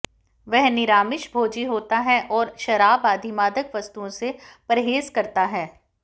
वह निरामिष भोजी होता है और शराब आदि मादक वस्तुओं से परहेज करता है